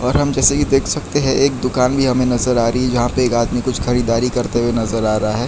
और हम जैसा कि देख सकते है एक दुकान भी हमें नजर आ रही है जहां पे एक आदमी कुछ खरीदारी करते हुए नजर आ रहा है।